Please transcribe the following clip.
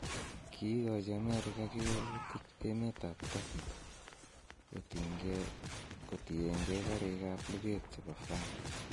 Kiigochi Amerika kewelutik emetab Turkey kotiengee kariikab luget chebo France